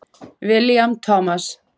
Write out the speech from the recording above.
William Thomas.